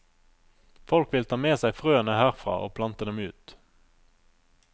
Folk vil ta med seg frøene herfra og plante dem ut.